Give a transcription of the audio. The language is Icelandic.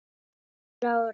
Guðrún Lára.